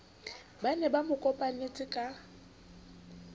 ba ne ba mokopanetse ka